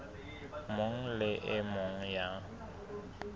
mong le e mong ya